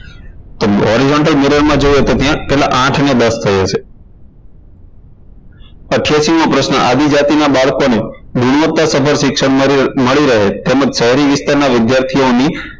તો horizontal mirror માં જોઈએ તો ત્યાં કેટલા આઠ ને દસ થઇ હશે અઠયાશી મો પ્રશ્ન આદિજાતિના બાળકોને નિવૃત્તા સફળ શિક્ષણ મળી રહે તેમજ શહેરી વિસ્તારના વિદ્યાર્થીઓની